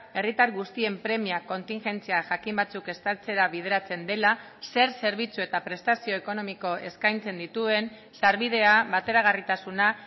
herritar guztien premia kontingentzia jakin batzuk estaltzera bideratzen dela zer zerbitzu eta prestazio ekonomiko eskaintzen dituen sarbidea bateragarritasuna